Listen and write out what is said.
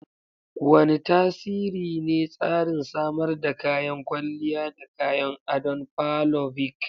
Wane tasiri ne tsarin samar da kayan kwalliya da kayan adon parlovic?